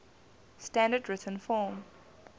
standard written form